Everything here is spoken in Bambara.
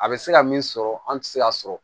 A bɛ se ka min sɔrɔ an tɛ se k'a sɔrɔ